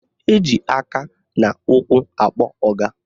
Eji aka na ụkwụ akpọ ọga